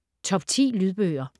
Top 10 Lydbøger